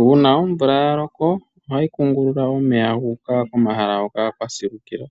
Uuna omvula ya loko ohayi kungulula omeya gu uka komahala hoka kwa silukila.